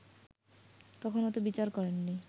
তখনো তো বিচার করেননি